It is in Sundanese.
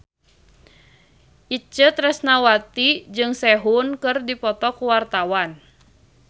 Itje Tresnawati jeung Sehun keur dipoto ku wartawan